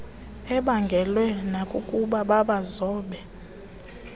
ibaangelwe nakukuba babazobe